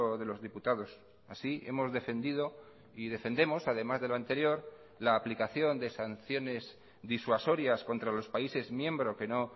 de los diputados así hemos defendido y defendemos además de lo anterior la aplicación de sanciones disuasorias contra los países miembro que no